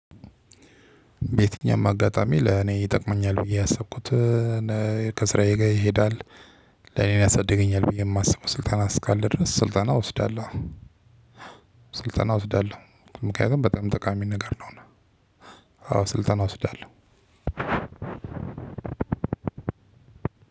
በየትኛውም አጋጣሚ ለኔ ይጠቅመኛል ብዬ ያሰብኩት ከስራዬ ጋር ይሄዳል ለኔን ያሳድገኛል ብዬ የማስበው ስልጠና እስካለ ድረስ ስልጠና እወስዳለሁ። ስልጠና እወስዳለሁ። ምክንያቱም በጣም ጠቃሚ ነገር ነው። አዎ ስልጠና እወስዳለሁ።